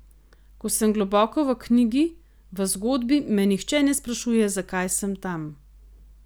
Ko sem globoko v knjigi, v zgodbi, me nihče ne sprašuje, zakaj sem tam.